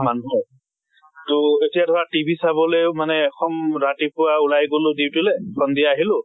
মানুহৰ। তʼ এতিয়া ধৰা TV চাবলেও মানে সম ৰাতিপুৱা ওলাই গলো duty লে সন্ধিয়া আহিলো